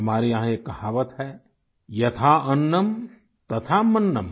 हमारे यहाँ एक कहावत है यथा अन्नम तथा मन्न्म